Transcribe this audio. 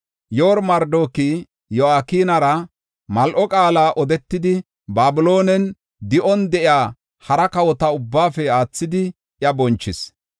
Yoor-Marodaaki Yo7akinara mal7o qaala odetidi, Babiloonen di7on de7iya hara kawota ubbaafe aathidi iya bonchis.